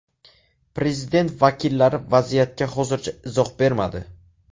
Prezident vakillari vaziyatga hozircha izoh bermadi.